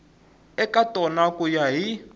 eka tona ku ya hi